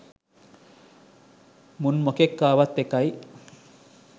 මුන් මොකෙක් ආවත් එකයි